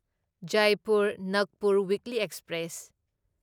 Jaipur Nagpur weekly express